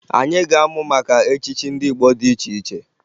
Anyị ga-amụ maka echichi ndị Igbo dị iche iche